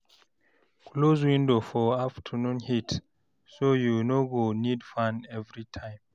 Close window for afternoon heat ,so you no go need fan every time.